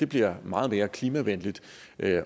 bliver meget mere klimavenlig